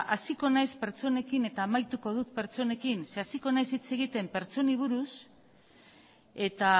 hasiko naiz pertsonekin eta amaituko dut pertsonekin zeren eta hasiko naiz hitz egiten pertsonei buruz eta